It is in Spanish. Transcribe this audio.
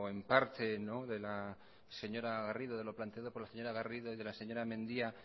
en parte de la señora garrido de lo planteado por la señora garrido y de la señora mendia